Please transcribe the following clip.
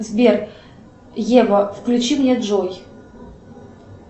сбер ева включи мне джой